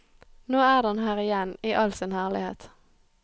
Nå er den her igjen i all sin herlighet.